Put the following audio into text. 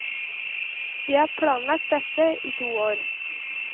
Vi har planlagt dette i to år.